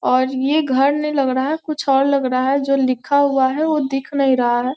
और ये घर नहीं लग रहा है कुछ और लग रहा है जो लिखा हुआ है वो दिख नहीं रहा है।